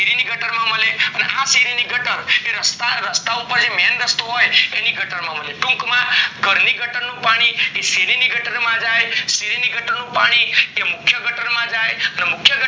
શેરી ની ગટર માં મળે અને અ શેરી ની ગટર રસ્તા ઉપર જે main રસ્તો હોય એની ગટર મળે ટુક માં ઘર ની ગટર પાણી એ શેરી ની ગટર માં જાય શેરીની ગટર નું પાણી એ મુખ્ય ગટર માં જાય અને મુખ્ય ગટર નું